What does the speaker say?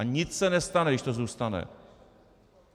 A nic se nestane, když to zůstane.